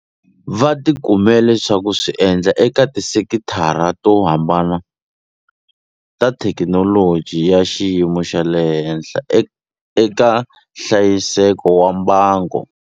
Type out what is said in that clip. Va ti kumele swa ku swi endla eka tisekitara to hambana ta thekinoloji ya xiyimo xa le henhla eka hlayiseko wa mbango.